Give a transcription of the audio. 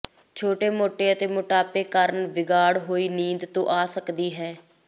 ਛੋਟੇ ਮੋਟੇ ਅਤੇ ਮੋਟਾਪੇ ਕਾਰਨ ਵਿਗਾੜ ਹੋਈ ਨੀਂਦ ਤੋਂ ਆ ਸਕਦੀ ਹੈ